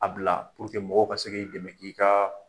A bila pour que mɔgɔw ka se k'i dɛmɛ i kaa